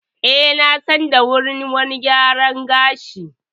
Eh na san da wani wurin gyara gashi.